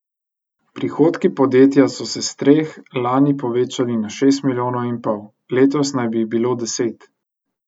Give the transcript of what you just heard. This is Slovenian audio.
Prihodki podjetja so se s treh lani povečali na šest milijonov in pol, letos naj bi jih bilo deset.